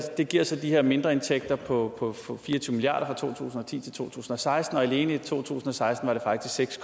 det giver så de her mindreindtægter på fire og tyve milliard to tusind og ti til to tusind og seksten og alene i to tusind og seksten var det faktisk seks